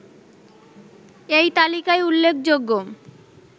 এই তালিকায় উল্লেখযোগ্য